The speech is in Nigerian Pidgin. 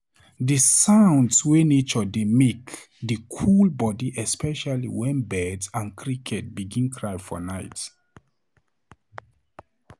Di sounds wey nature dey make dey cool body especially wen bird and cricket begin cry for nite.